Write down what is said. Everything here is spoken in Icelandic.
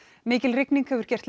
mikil rigning hefur gert